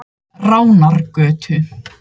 Ránargötu